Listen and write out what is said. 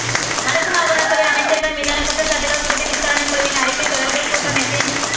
வடக்கு மாகாணசபை அமைச்சர்கள் மீதான குற்றச்சாட்டுகள் குறித்த விசாரணைக் குழுவின் அறிக்கை தொடர்பில் கூட்டமைப்பின்